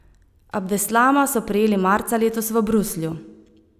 Abdeslama so prijeli marca letos v Bruslju.